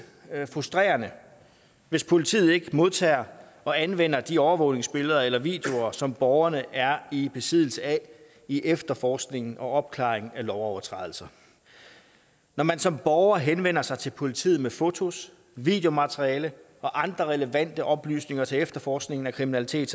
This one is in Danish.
frustrerende hvis politiet ikke modtager og anvender de overvågningsbilleder eller videoer som borgerne er i besiddelse af i efterforskningen og opklaringen af lovovertrædelser når man som borger henvender sig til politiet med fotos videomateriale og andre relevante oplysninger til efterforskningen af kriminalitet